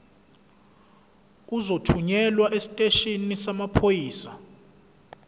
uzothunyelwa esiteshini samaphoyisa